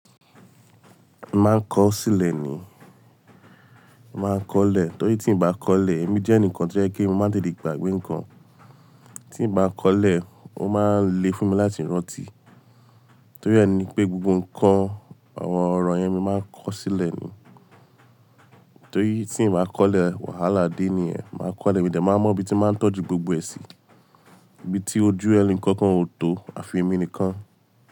Maa n kọ sílẹ̀ ni, maa n kọlẹ̀ torí tí n bá kọlẹ̀ èmi jẹ́ ẹnìkan tí ẹ kí n máa lè de gbàgbé nnkan. Tí n bá n kọlẹ̀, ó máa ń le fún mi láti rántí. Torí ẹ ni pé gbogbo nnkan, àwọn ọ̀rọ̀ yẹn mi máa ń kọ sílẹ̀ ni. Torí tí n bá kọlẹ̀, wàhálà dé ni ẹ. Máa kọlẹ̀, èmi dà máa mọ ibi tí máa tọ́jú gbogbo ẹ sí, ibi tí ojú ẹni kankan ò tó, àfi èmi nìkan.